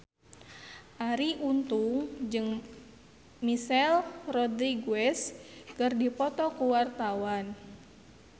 Arie Untung jeung Michelle Rodriguez keur dipoto ku wartawan